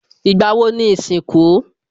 Ìgbà wo ni ìsìnkú?